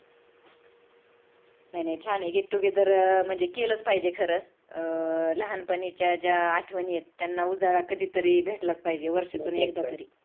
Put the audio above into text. नाही नाही छान आहे get together केलच पाहिजे खर लहानपणीच्या ज्या आठवणी आहेत त्यांना उजाळा कधीतरी भेटलाच पाहिजे वर्ष्यातून एकदा तरी